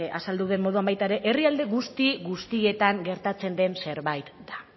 azaldu duen moduan baita ere herrialde guzti guztietan gertatzen den zerbait da